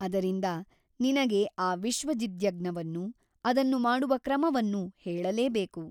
ಅದರಿಂದ ನಿನಗೆ ಆ ವಿಶ್ವಜಿದ್ಯಜ್ಞವನ್ನು ಅದನ್ನು ಮಾಡುವ ಕ್ರಮವನ್ನೂ ಹೇಳಲೇಬೇಕು.